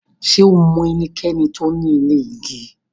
Ṣẹ o mọ ènìkẹ̀ní tó ní ilẹ̀ igi?